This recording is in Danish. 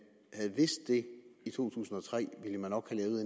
havde vidst det i to tusind og tre nok ville